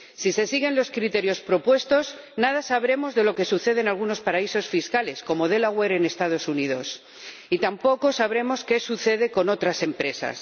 Si se siguen los criterios propuestos, nada sabremos de lo que sucede en algunos paraísos fiscales, como Delaware en los Estados Unidos, y tampoco sabremos qué sucede con otras empresas.